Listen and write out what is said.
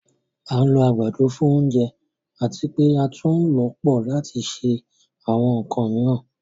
À n lò agbádọ̀ fún ọ̀ǹjẹ̀ àti pe̩ àtún ǹ lọ pọ̀ lati ṣe àwọn ǹkàn miiran